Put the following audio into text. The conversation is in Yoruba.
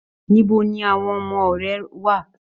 Níbo ní àwọn ọmọ rẹ wà?